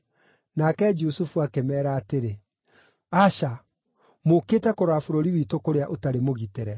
Nake Jusufu akĩmeera atĩrĩ, “Aca! Mũũkĩte kũrora bũrũri witũ kũrĩa ũtarĩ mũgitĩre.”